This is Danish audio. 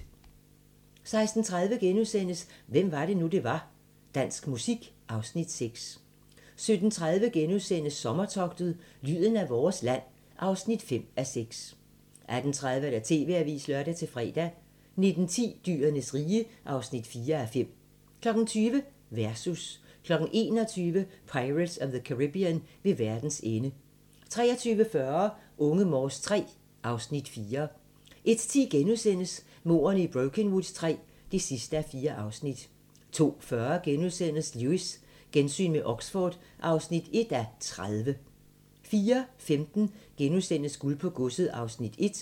16:30: Hvem var det nu, vi var? - Dansk musik (Afs. 6)* 17:30: Sommertogtet – lyden af vores land (5:6)* 18:30: TV-avisen (lør-fre) 19:10: Dyrenes rige (4:5) 20:00: Versus 21:00: Pirates of the Caribbean – Ved verdens ende 23:40: Unge Morse III (Afs. 4) 01:10: Mordene i Brokenwood III (4:4)* 02:40: Lewis: Gensyn med Oxford (1:30)* 04:15: Guld på Godset (Afs. 1)*